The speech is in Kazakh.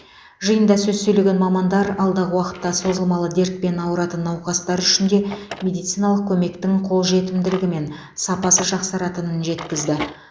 жиында сөз сөйлеген мамандар алдағы уақытта созылмалы дертпен ауыратын науқастар үшін де медициналық көмектің қолжетімділігі мен сапасы жақсаратынын жеткізді